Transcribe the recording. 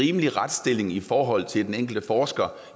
rimelig retsstilling i forhold til den enkelte forsker